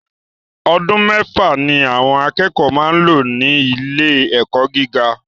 Ọdún mẹ́fà ni àwọn akẹ́kọ̀ọ́ máa ń lò ní ilé ẹ̀kọ́ gíga